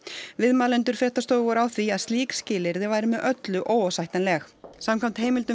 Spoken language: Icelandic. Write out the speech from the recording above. viðmælendur fréttastofu voru á því að slík skilyrði væru með öllu óásættanleg samkvæmt heimildum